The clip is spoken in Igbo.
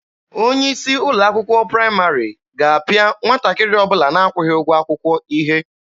Onye isi ụlọ akwụkwọ praịmarị ga-apịa nwatakịrị ọbụla na-akwụghị ụgwọ akwụkwọ ihe.